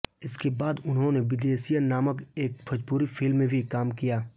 इसके बाद उन्होने बिदेसिया नामक एक भोजपुरी फिल्म में भी काम किया